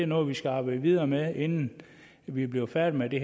noget vi skal arbejde videre med inden vi bliver færdige med det